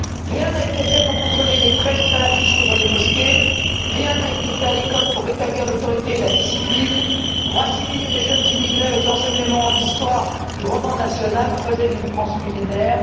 Rien n'a été fait pour contrôler les prêches salafistes dans les mosquées et rien n'a été fait à l'école pour rétablir l'autorité et la discipline ou pour assimiler les jeunes immigrés par l'enseignement, en cours d'histoire, du roman national, creuset d'une France millénaire.